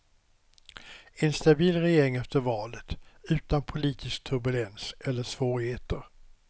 En stabil regering efter valet, utan politisk turbulens eller svårigheter.